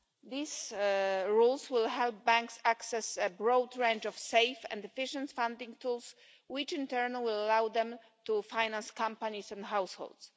These rules will help banks access a broad range of safe and efficient funding tools which in turn will allow them to finance companies and households.